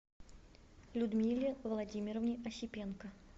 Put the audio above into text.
людмиле владимировне осипенко